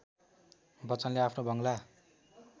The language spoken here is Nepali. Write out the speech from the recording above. बच्चनले आफ्नो बंगला